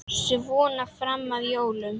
Svona fram að jólum.